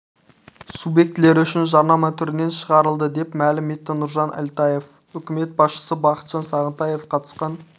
субъектілері үшін жарнама түрінен шығарылды деп мәлім етті нұржан әлтаев үкімет басшысы бақытжан сағынтаев қатысқан